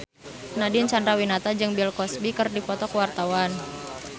Nadine Chandrawinata jeung Bill Cosby keur dipoto ku wartawan